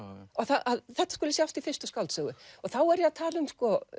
að þetta skuli sjást í fyrstu skáldsögu þá er ég að tala um